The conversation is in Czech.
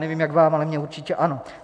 Nevím, jak vám, ale mně určitě ano.